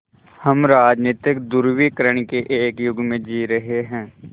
हम राजनीतिक ध्रुवीकरण के एक युग में जी रहे हैं